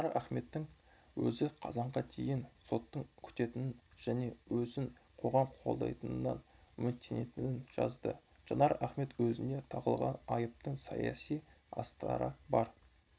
жанар ахметтің өзі қазанға дейін сотты күтетінін және өзін қоғам қолдайтынынан үміттенетінін жазды жанар ахмет өзіне тағылған айыптың саяси астары бар